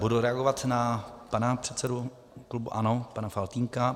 Budu reagovat na pana předsedu klubu ANO pana Faltýnka.